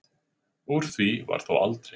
Úr því varð þó aldrei.